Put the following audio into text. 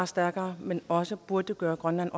stærkere men også burde gøre grønland